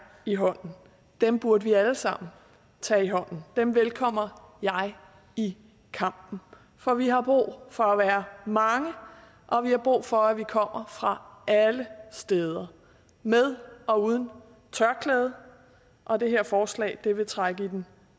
i hånden dem burde vi alle sammen tage i hånden dem velkommer jeg i kampen for vi har brug for at være mange og vi har brug for at vi kommer fra alle steder med og uden tørklæde og det her forslag vil trække i den